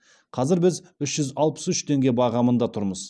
қазір біз үш жүз алпыс үш теңге бағамында тұрмыз